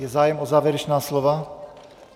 Je zájem o závěrečná slova?